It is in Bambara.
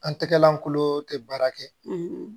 An tɛgɛlankolo tɛ baara kɛ